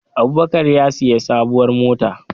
Abubakar ya sayi sabuwar mota